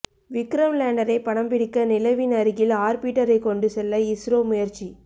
விக்ரம் லேண்டரை படம்பிடிக்க நிலவின் அருகில் ஆர்பிட்டரை கொண்டு செல்ல இஸ்ரோ முயற்சி